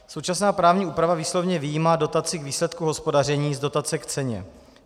Současná právní úprava výslovně vyjímá dotaci k výsledku hospodaření z dotace k ceně.